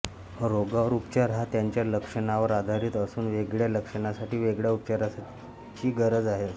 रोगावर उपचार हा त्याच्या लक्षणांवर आधारित असून वेगळ्या लक्षणांसाठी वेगळया उपचाराची गरज असते